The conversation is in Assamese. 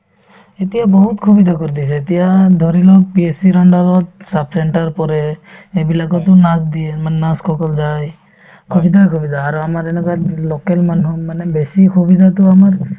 এতিয়া বহুত সুবিধা কৰি দিছে এতিয়া ধৰিলোৱা PSC ৰ under ত sub center পৰে সেইবিলাকতো nurse দিয়ে মানে nurse সকল যায় সুবিধাই সুবিধা আৰু আমাৰ এনেকুৱাত local মানুহ মানে বেছি সুবিধাতো আমাৰ